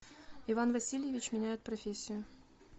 иван васильевич меняет профессию